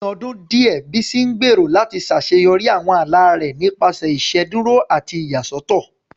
Ní ọdún díẹ̀, Bísí ń gbèrò láti ṣàṣeyọrí àwọn ala rẹ̀ nípasẹ̀ ìṣèdúró àti ìyàsọ́tọ̀